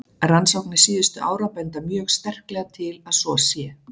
Rannsóknir síðustu ára benda mjög sterklega til að svo sé.